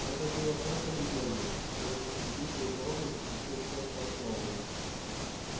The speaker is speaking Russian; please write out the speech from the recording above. это было просто легендой которую после битвы у коровника пустил в ход сам сноуболл